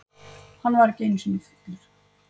Hann var ekki einusinni fullur.